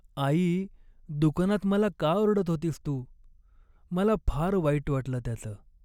आई! दुकानात मला का ओरडत होतीस तू, मला फार वाईट वाटलं त्याचं.